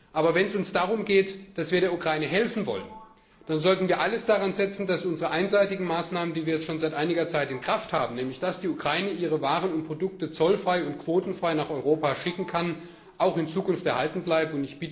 Aber wenn es uns darum geht, dass wir der Ukraine helfen wollen, dann sollten wir alles daran setzen, dass unsere einseitigen Maßnahmen, die wir jetzt schon seit einiger Zeit in Kraft haben, nämlich dass die Ukraine ihre Waren und Produkte zollfrei und quotenfrei nach Europa schicken kann, auch in Zukunft erhalten bleiben.